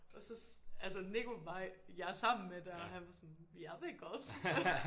Og så altså Nico var jeg sammen med der og han var sådan jeg vil godt